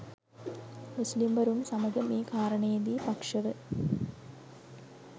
මුස්ලිම්වරුන් සමග මේ කාරණයේදි පක්ෂව